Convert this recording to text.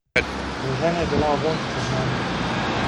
Priložena je bila ovojnica z znamko.